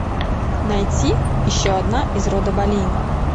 найти еще одна из рода болейн